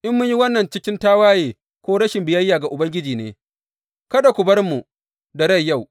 In mun yi wannan cikin tawaye ko rashin biyayya ga Ubangiji ne, kada ku bar mu da rai yau.